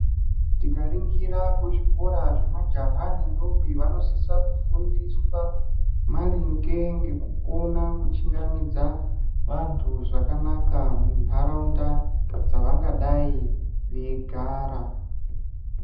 Tikaringira kuzvikora zvemajaha nendombi vanosisa kufundiswa maringe ngekukona kuchingamidza vantu zvakanaka munharaunda dzavangadayi veigara.